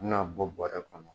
N'u y'a bɔ bɔrɛ kɔnɔ